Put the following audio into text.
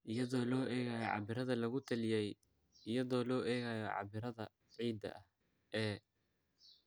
iyadoo loo eegayo cabbirada lagu taliyey iyadoo loo eegayo cabbirada ciidda ee